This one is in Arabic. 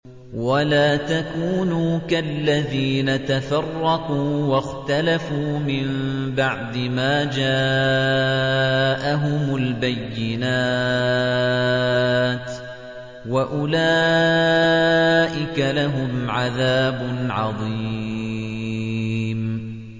وَلَا تَكُونُوا كَالَّذِينَ تَفَرَّقُوا وَاخْتَلَفُوا مِن بَعْدِ مَا جَاءَهُمُ الْبَيِّنَاتُ ۚ وَأُولَٰئِكَ لَهُمْ عَذَابٌ عَظِيمٌ